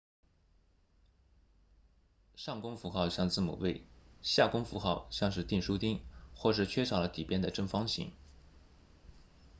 上弓符号像字母 v 下弓符号像是钉书钉或是缺少了底边的正方形